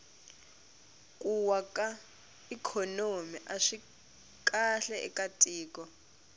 ku wa ka ikhonomi aswi kahle eka tiko